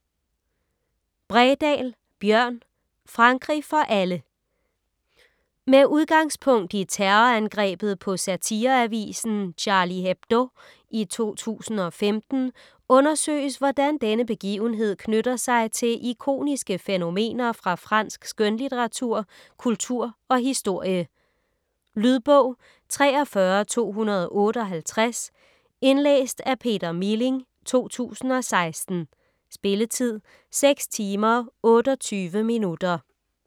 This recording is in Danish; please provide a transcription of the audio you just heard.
Bredal, Bjørn: Frankrig for alle Med udgangspunkt i terrorangrebet på satireavisen Charlie Hebdo i 2015, undersøges hvordan denne begivenhed knytter sig til ikoniske fænomener fra fransk skønlitteratur, kultur og historie. Lydbog 43258 Indlæst af Peter Milling, 2016. Spilletid: 6 timer, 28 minutter.